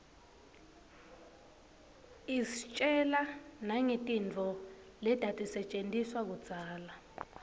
istjela nangetintfo letatisetjentiswa kudzala